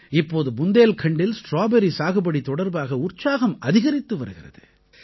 இப்போது புந்தேல்கண்டில் ஸ்ட்ராபெர்ரி சாகுபடி தொடர்பாக உற்சாகம் அதிகரித்து வருகிறது